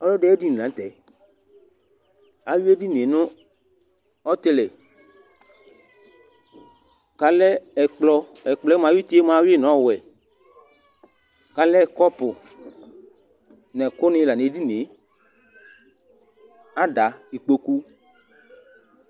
Ɔlɔdɩ ayediŋɩ lanʊtɛ Awʊɩ edɩŋɩe ŋʊ ɔtɩlɩ, ƙalɛ ɛkplɔ Ɛkplɔ mua aƴʊʊtɩ awʊɩ ŋʊ ɔwɛ Kalɛ kɔpʊ ŋɛkʊ ŋɩ nedinɩe, ada, ɩƙpoƙʊ